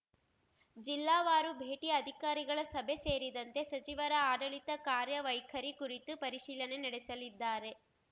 ಜಿಲ್ಲಾವಾರು ಭೇಟಿ ಅಧಿಕಾರಿಗಳ ಸಭೆ ಸೇರಿದಂತೆ ಸಚಿವರ ಆಡಳಿತ ಕಾರ್ಯವೈಖರಿ ಕುರಿತು ಪರಿಶೀಲನೆ ನಡೆಸಲಿದ್ದಾರೆ